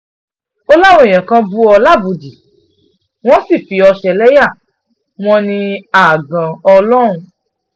ó láwọn èèyàn kan bú òun lábùúdìí wọ́n sì fi òun ṣẹlẹ́yà wọn wọn ní àgàn lòun